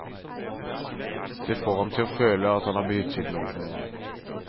Det får ham til å føle at han har betydd noe for noen.